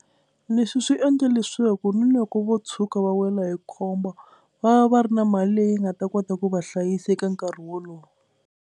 Leswi swi endla leswaku ni loko vo tshuka va wela hi khombo va va va ri na mali leyi nga ta kota ku va hlayisa eka nkarhi wolowo.